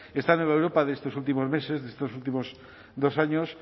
esta nueva europa de estos últimos meses de estos últimos dos años